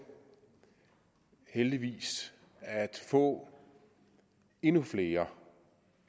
heldigvis at få endnu flere